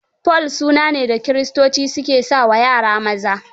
Paul suna ne da kiristoci ke sa wa yara maza.